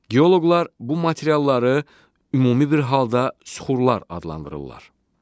Geoloqlar bu materialları ümumi bir halda suxurlar adlandırırlar.